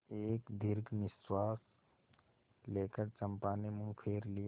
एक दीर्घ निश्वास लेकर चंपा ने मुँह फेर लिया